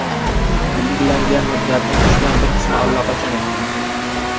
Belgilangan muddatning uchdan bir qismi allaqachon o‘tgan.